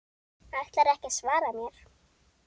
Ætlarðu ekki að svara mér?